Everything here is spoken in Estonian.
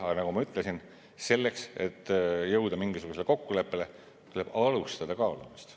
Aga nagu ma ütlesin, selleks et jõuda mingisugusele kokkuleppele, tuleb alustada kaalumist.